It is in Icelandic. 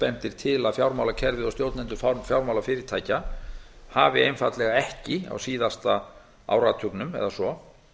bendir til að fjármálakerfið og stjórnendur fjármálafyrirtækja hafi einfaldlega ekki á síðasta áratugnum eða svo